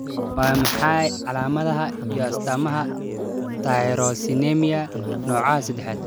Waa maxay calaamadaha iyo astaamaha Tyrosinemia nooca sedax?